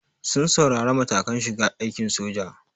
Sun tsaurara matakan shiga aikin soja.